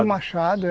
E o machado.